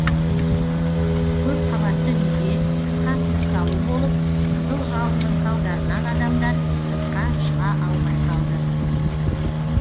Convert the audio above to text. көпқабатты үйде қысқа тұйықталу болып қызыл жалынның салдарынан адамдар сыртқа шыға алмай қалды